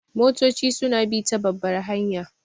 Motoci su na bi ta babbar hanya